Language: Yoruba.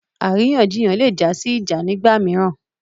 Àríyànjiyàn lè jásí ìjà nigba mìíràn